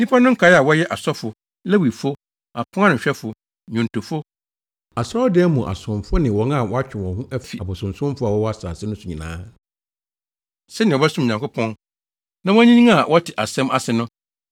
“Nnipa no nkae a wɔyɛ asɔfo, Lewifo, aponanohwɛfo, nnwontofo, Asɔredan mu asomfo ne wɔn a wɔatwe wɔn ho afi abosonsomfo a wɔwɔ asase no so nyinaa, sɛnea wɔbɛsom Nyankopɔn, na wɔanyinyin a wɔte asɛm ase no,